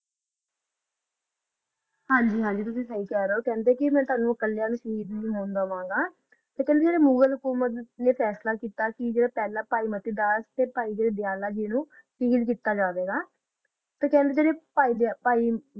ਹਨ ਜੀ ਤੁਸੀਂ ਸਹੀ ਖਾ ਰਹਾ ਜਾ ਤੋਹਾਨੋ ਓਹੋ ਕਾਲੀਆ ਨੂ ਹੀ ਖਾ ਰਹਾ ਸੀ ਕੁ ਕਾ ਮੁਘਾਲ ਹਕੋਮਤ ਨਾ ਨਾ ਜੋ ਕੀਤਾ ਤਾ ਓਹੋ